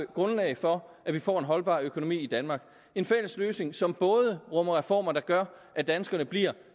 grundlag for at vi får en holdbar økonomi i danmark en fælles løsning som både rummer reformer der gør at danskerne bliver